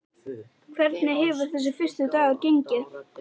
Hvernig hefur þessi fyrsti dagur gengið?